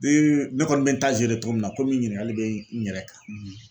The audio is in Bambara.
ne kɔni bɛ togo min na komi ɲininkali bɛ n yɛrɛ kan.